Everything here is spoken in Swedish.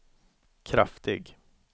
kraftig